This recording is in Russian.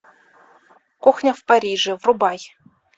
кухня в париже врубай